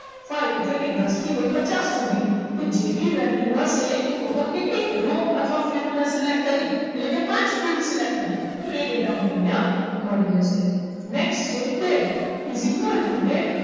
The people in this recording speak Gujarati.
Five એટલે કે દસ થી લઈ પચાસ સુધીની તો જે બી value હશે એ total કેટલી raw અથવા fild select કરી એટલે કે પાંચ fild select કરી તો એ data મને અહીંયા મળી જશે next છે date is equal to date